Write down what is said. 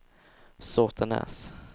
Såtenäs